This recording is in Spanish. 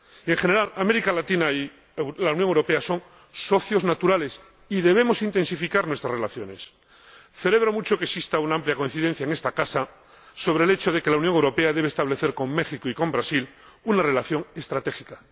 En general, América Latina y la Unión Europea son socios naturales y debemos intensificar nuestras relaciones. Celebro mucho que exista una amplia coincidencia en esta Casa sobre el hecho de que la Unión Europea debe establecer con México y con Brasil una relación estratégica.